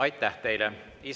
Aitäh teile!